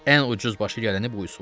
Ən ucuz başa gələni bu üsuldur.